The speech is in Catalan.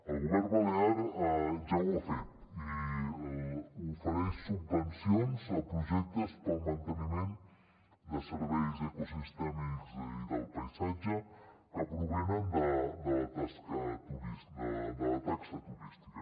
el govern balear ja ho ha fet i ofereix subvencions a projectes per al manteniment de serveis ecosistèmics i del paisatge que provenen de la taxa turística